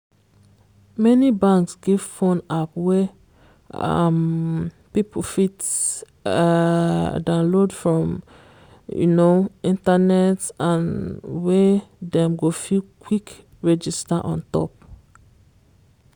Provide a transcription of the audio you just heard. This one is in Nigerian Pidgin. many banks give phone app wey um people fit um downlaod from um internet and wey dem go fit quick register on top.